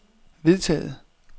vedtaget